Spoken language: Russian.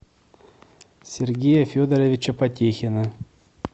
сергея федоровича потехина